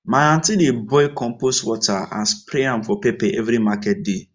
my aunty dey boil compost water and spray am for pepper every market day